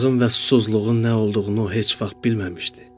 Acılığın və susuzluğun nə olduğunu o heç vaxt bilməmişdi.